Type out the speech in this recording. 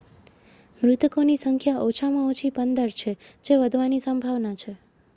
મૃતકોની સંખ્યા ઓછામાં ઓછી 15 છે જે વધવાની સંભાવના છે